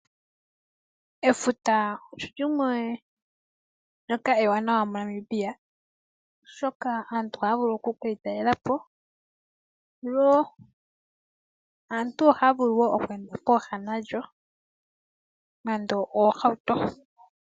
Efuta olimwe ndyoka ewaanawa mo Namibia, oshoka aantu ohaya vulu oku kelitalelapo. Aantu ohaya vulu woo okweenda pooha nalyo nando oohauto.